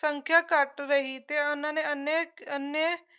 ਸੰਖਿਆ ਘੱਟ ਰਹੀ ਤੇ ਉਹਨਾਂ ਨੇ ਅਨੇਕ ਏਨੇ